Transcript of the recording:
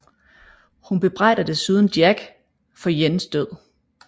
Hun bebrejder desuden Jack for Jins død